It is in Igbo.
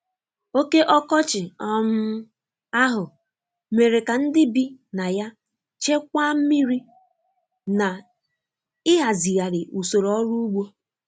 Oke ọkọchị um ahụ mere ka ndị bi na ya chekwaa mmiri na ịhazigharị usoro ọrụ ugbo.